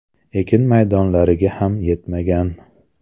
Ekin maydonlariga ham yetmagan.